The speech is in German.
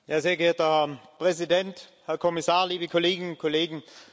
Herr Präsident, Herr Kommissar, liebe Kolleginnen und Kollegen!